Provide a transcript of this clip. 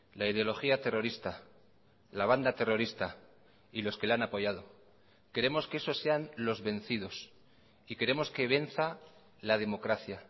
la ideología terrorista la banda terrorista y los que la han apoyado queremos que esos sean los vencidos y queremos que venza la democracia